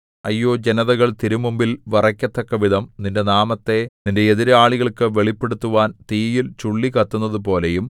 അയ്യോ ജനതകൾ തിരുമുമ്പിൽ വിറയ്ക്കത്തക്കവിധം നിന്റെ നാമത്തെ നിന്റെ എതിരാളികൾക്കു വെളിപ്പെടുത്തുവാൻ തീയിൽ ചുള്ളി കത്തുന്നതു പോലെയും